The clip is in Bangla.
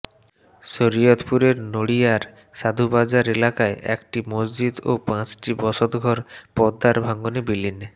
শরীয়তপুরের নড়িয়ার সাধুবাজার এলাকায় একটি মসজিদ ও পাঁচটি বসতঘর পদ্মার ভাঙনে বিলীন